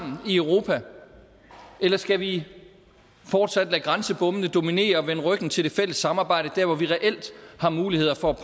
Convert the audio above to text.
i europa eller skal vi fortsat lade grænsebommene dominere og vende ryggen til det fælles samarbejde dér hvor vi reelt har muligheder for